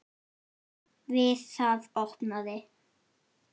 Við það opnaði